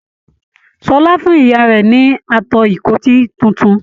Ṣọlá fún ìyá rẹ ní ato ìkọ́tì títún.